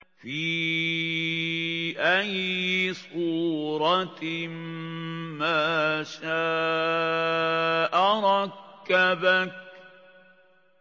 فِي أَيِّ صُورَةٍ مَّا شَاءَ رَكَّبَكَ